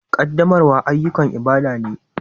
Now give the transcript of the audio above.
Ƙaddamarwa ayyukan ibada ne